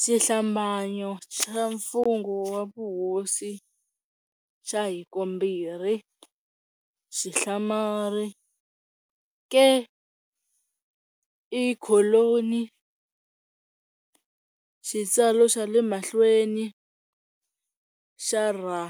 Xihlambanyo xa mfungho wa vuhosi xa hikombirhi, !, ke, e kholoni xitsalo xa le mahlweni xarra